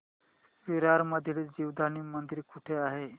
विरार मधील जीवदानी मंदिर कुठे आहे